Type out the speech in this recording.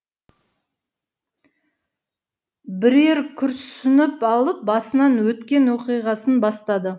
бірер күрсініп алып басынан өткен оқиғасын бастады